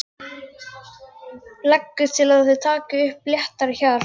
Leggur til að þeir taki upp léttara hjal.